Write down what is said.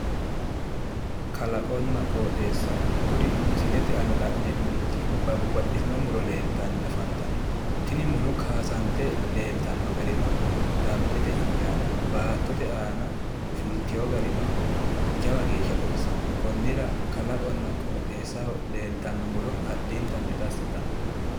Kalaqonna qooxeessa. Kuri misilete aana la'neemmorichi babbaxxitino muro leeltanni afantanno. Tini muro kaasante leeltanno garino dambete injaanno. Baattote aana fultiwo garino jawa geeshsha baxisanno. Konnira kalaqonna qooxeessaho leeltanno muro addintanni dassi yitanno.